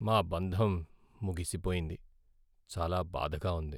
మా బంధం ముగిసిపోయింది, చాలా బాధగా ఉంది.